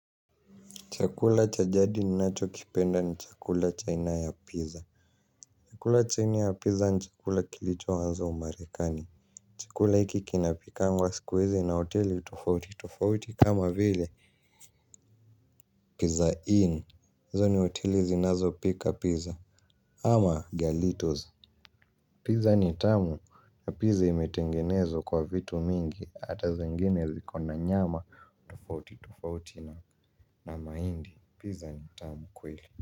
Chakula cha jadi ninachokipenda ni chakula cha aina ya pizza. Chakula cha aina ya pizza ni chakula kilichoanza umarekani. Chakula hiki kinapikwa siku hizi na hoteli tofauti tofauti, kama vile pizza inn. Hizo ni hoteli zinazopika pizza, ama galitos. Pizza ni tamu, na pizza imetengenezwa kwa vitu mingi, ata zingine ziko na nyama. Tofauti tofauti, na mahindi. Pizza ni tamu kweli.